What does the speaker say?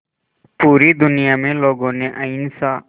पूरी दुनिया में लोगों ने अहिंसा